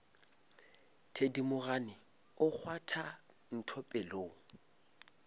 thedimogane o kgwatha ntho pelong